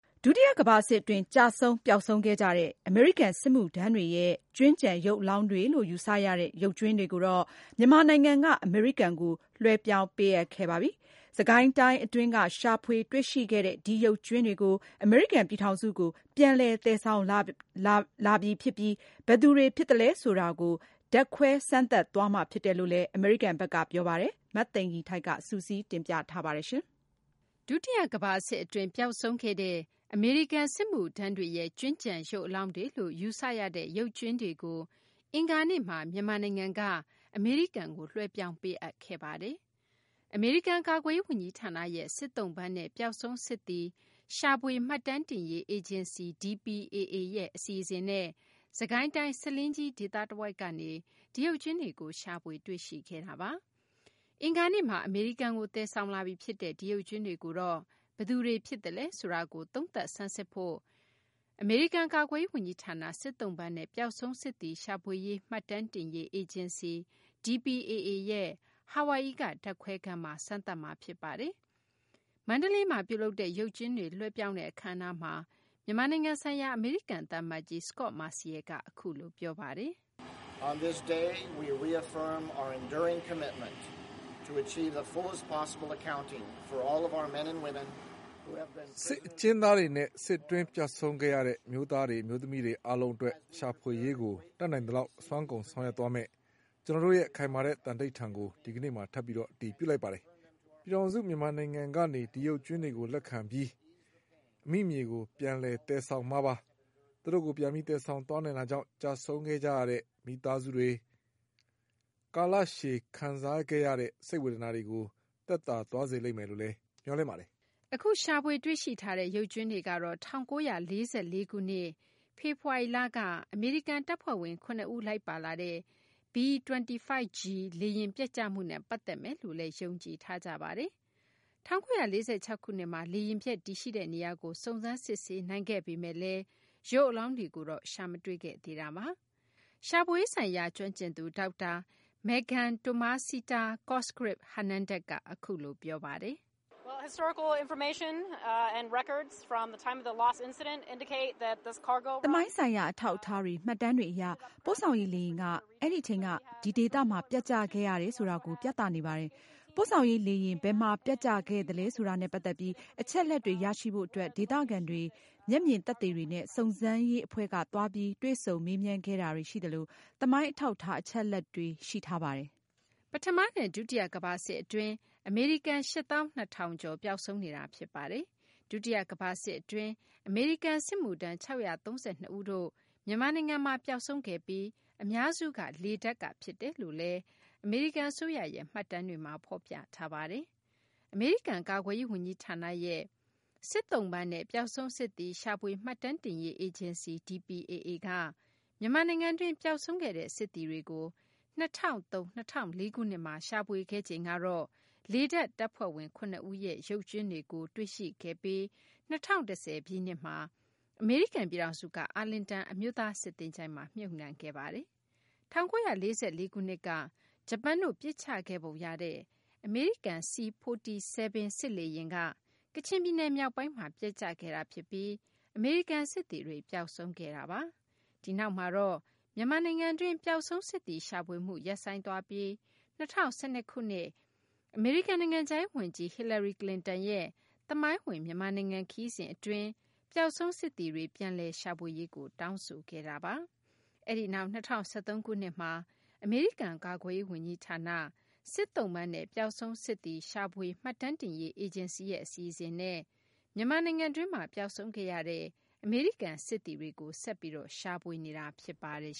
ဒုတိယ ကမ္ဘာစစ် အတွင်း ကျဆုံး ပျောက်ဆုံးခဲ့ကြတဲ့ အမေရိကန် စစ်မှုထမ်းတွေရဲ့ ကြွင်းကျန် ရုပ်အလောင်းတွေလို့ ယူဆရတဲ့ ရုပ်ကြွင်းတွေကို မြန်မာနိုင်ငံက အမေရိကန်ကို လွှဲပြောင်းပေးအပ်ခဲ့ပါတယ်။ စစ်ကိုင်းတိုင်း အတွင်းက ရှာဖွေတွေ့ရှိခဲ့တဲ့ ဒီရုပ်ကြွင်းတွေကို အမေရိကန် ပြည်ထောင်စုကို ပြန်လည်သယ်ဆောင်လာပြီ ဖြစ်ပြီး ဘယ်သူတွေ ဖြစ်သလဲ ဆိုတာကို ဓာတ်ခွဲစမ်းသပ်သွားမှာ ဖြစ်တယ်လို့လည်း အမေရိကန်ဘက်က ပြောဆိုထားပါတယ်။ မသိင်္ဂ ီထိုက် စုစည်းတင်ပြထားပါတယ်။ ဒုတိယကမ္ဘာစစ် အတွင်း ပျောက်ဆုံးခဲ့တဲ့ အမေရိကန် စစ်မှုထမ်းတွေရဲ့ ကြွင်းကျန် ရုပ်အလောင်းတွေလို့ ယူဆရတဲ့ ရုပ်ကြွင်းတွေကို အင်္ဂါနေ့မှာ မြန်မာနိုင်ငံက အမေရိကန်ကို လွှဲပြောင်းပေးအပ်ခဲ့တာပါ။ အမေရိကန် ကာကွယ်ရေး ဝန်ကြီးဌာနရဲ့ စစ်သုံ့ပန်းနဲ့ ပျောက်ဆုံးစစ်သည် ရှာဖွေ မှတ်တမ်းတင်ရေး အေဂျင်စီ ရဲ့ အစီအစဉ်နဲ့ စစ်ကိုင်းတိုင်း ဆားလင်းကြီး ဒေသတဝိုက်ကနေ ဒီရုပ်ကြွင်းတွေကို ရှာဖွေ တွေရှိခဲ့တာပါ။ အင်္ဂါနေ့မှာ အမေရိကန်ကို သယ်ဆောင်လာပြီ ဖြစ်တဲ့ဒီရုပ်ကြွင်းတွေကိုတော့ ဘယ်သူတွေ ဖြစ်သလဲ ဆိုတာကို သုံးသပ်ဆန်စစ်ဖို့ အတွက် အမေရိကန် ကာကွယ်ရေး ဝန်ကြီးဌာန စစ်သုံ့ပန်းနဲ့ ပျောက်ဆုံးစစ်သည် ရှာဖွေ မှတ်တမ်းတင်ရေး အေဂျင်စီ ရဲ့ ဟာဝိုင်အီက ဓာတ်ခွဲခန်းမှာ စမ်းသပ်မှာ ဖြစ်ပါတယ်။ မန္တလေးမှာ ပြုလုပ်တဲ့ ရုပ်ကြွင်းတွေ လွှဲပြောင်းတဲ့ အခမ်းအနားမှာ မြန်မာနိုင်ငံဆိုင်ရာ အမေရိကန် သံအမတ်ကြီး Scot Marciel က အခုလို ပြောပါတယ်။ " စစ်အကျဉ်းသားတွေနဲ့ စစ်အတွင်း ပျောက်ဆုံးခဲ့ရတဲ့ အမျိုးသားတွေ အမျိုးသမီးတွေ အားလုံးအတွက် ရှာဖွေရေးကို တတ်နိုင်သလောက် အစွမ်းကုန် ဆောင်ရွက် သွားမယ့် ကျနော်တို့ရဲ့ ခိုင်မာတဲ့ သံဓိဌာန်ကို ဒီကနေ့မှာ ထပ်ပြီး အတည်ပြုလိုက်တာပါ။ ပြည်ထောင်စု မြန်မာနိုင်ငံ ထံကနေ ဒီရုပ်ကြွင်းတွေကို လက်ခံပြီး အမိမြေကို ပြန်လည် သယ်ဆောင်မှာပါ။ သူတို့ကို ပြန်ပြီး သယ်ဆောင်သွားနိုင်တာကြောင့် ကျဆုံးခဲ့ရတဲ့ မိသားစုတွေ ကာလရှည် ခံစားခဲ့ရတဲ့ စိတ်ဝေဒနာတွေကို သက်သာသွားစေမယ်လို့လည်း မျှော်လင့်ပါတယ်။" အခု ရှာဖွေတွေ့ရှိထားတဲ့ ရုပ်ကြွင်းတွေကတော့ ၁၉၄၄ ခုနှစ် ဖေဖော်ဝါရီလက အမေရိကန် တပ်ဖွဲ့ဝင် ၇ ဦး လိုက်ပါလာတဲ့ B-25G လေယာဉ် ပျက်ကျမှုနဲ့ ပတ်သက်မယ်လို့လည်း ယုံကြည်ထားကြပါတယ်။ ၁၉၄၆ ခုနှစ်မှာ လေယာဉ်ပျက် တည်ရှိတဲ့ နေရာကို စုံစမ်းစစ်ဆေးနိုင်ခဲ့ပေမယ့် ရုပ်အလောင်းတွေကိုတော့ ရှာမတွေ့ခဲ့သေးတာပါ။ ရှာဖွေရေးဆိုင်ရာ ကျွမ်းကျင်သူ ဒေါက်တာ Meghan-Tomasita Cosgriff-Hernandes ကတော့ အခုလို ပြောပါတယ်။ " သမိုင်းဆိုင်ရာ အထောက်အထားတွေ၊ မှတ်တမ်းတွေ အရ ပို့ဆောင်ရေး လေယာဉ်က အဲဒီအချိန်က ဒီဒေသမှာ ပျက်ကျခဲ့ရတယ် ဆိုတာကို ပြသနေပါတယ်။ ပို့ဆောင်ရေး လေယာဉ် ဘယ်မှာ ပျက်ကျခဲ့သလဲ ဆိုတာနဲ့ ပတ်သက်ပြီး အချက်အလက်တွေ ရရှိဖို့ အတွက် ဒေသခံတွေ မျက်မြင်သက်သေတွေနဲ့ စုံစမ်းရေး အဖွဲ့က သွားပြီး တွေ့ဆုံမေးမြန်းခဲ့တာတွေ ရှိသလို သမိုင်းအထောက်အထား အချက်အလက်တွေ ရှိထားပါတယ်။" ပထမနဲ့ ဒုတိယကမ္ဘာစစ် အတွင်း အမေရိကန် ၈ သောင်း ၂ ထောင်ကျော် ပျောက်ဆုံးနေတာ ဖြစ်ပါတယ်။ ဒုတိယကမ္ဘာစစ် အတွင်း အမေရိကန် စစ်မှုထမ်း ၆၃၂ ဦးတို့ကတော့ မြန်မာနိုင်ငံမှာ ပျောက်ဆုံးခဲ့ပြီး အများစုက လေတပ်က ဖြစ်တယ်လို့လည်း အမေရိကန် အစိုးရရဲ့ မှတ်တမ်းတွေမှာ ဖော်ပြထားပါတယ်။ အမေရိကန် ကာကွယ်ရေး ဝန်ကြီးဌာနရဲ့ စစ်ကြွင်းရှာဖွေ မှတ်တမ်းတင်ရေး အေဂျင်စီ DPAA က မြန်မာနိုင်ငံတွင်း ပျောက်ဆုံးခဲ့တဲ့ စစ်သည်တွေကို ၂၀၀၃ - ၂၀၀၄ ခုနှစ်မှာ ရှာဖွေခဲ့ချိန်ကတော့ လေတပ် တပ်ဖွဲ့ဝင် ၇ ဦးရဲ့ ရုပ်ကြွင်းတွေကို ရှာဖွေ တွေ့ရှိခဲ့ပြီး ၂၀၁၀ ပြည့်နှစ်မှာ အမေရိကန် ပြည်ထောင်စုက အာလင်တန် အမျိုးသား စစ်သချိုင်းမှာ မြုပ်နှံခဲ့ပါတယ်။ ၁၉၄၄ ခုနှစ်က ဂျပန်တို့ ပစ်ချခဲ့ပုံရတဲ့ အမေရိကန် C-47 စစ်လေယာဉ်က ကချင်ပြည်နယ် မြောက်ပိုင်းမှာ ပျက်ကျခဲ့တာ ဖြစ်ပြီး အမေရိကန် စစ်သည်တွေ ပျောက်ဆုံးခဲ့တာပါ။ ဒီနောက်မှာတော့ မြန်မာနိုင်ငံတွင်း ပျောက်ဆုံး စစ်သည် ရှာဖွေမှု ရပ်ဆိုင်းသွားပြီး ၂၀၁၂ ခုနှစ်က အမေရိကန် နိုင်ငံခြားရေး ဝန်ကြီး Hillary Clinton ရဲ့ သမိုင်းဝင် မြန်မာနိုင်ငံ ခရီးစဉ် အတွင်းမှာ အမေရိကန် ပျောက်ဆုံးစစ်သည်တွေ ပြန်လည်ရှာဖွေရေးကို တောင်းဆိုခဲ့တာပါ။ အဲဒီနောက် ၂၀၁၃ ခုနှစ်မှာ အမေရိကန် ကာကွယ်ရေး ဝန်ကြီးဌာန စစ်ကြွင်းရှာဖွေ မှတ်တမ်းတင်ရေး အေဂျင်စီရဲ့ အစီအစဉ်နဲ့ မြန်မာနိုင်ငံတွင်းမှာ ပျောက်ဆုံးခဲ့တဲ့ အမေရိကန် စစ်သည်တွေကို ဆက်ပြီး ရှာဖွေနေတာ ဖြစ်ပါတယ်